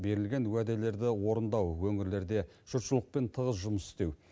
берілген уәделерді орындау өңірлерде жұртшылықпен тығыз жұмыс істеу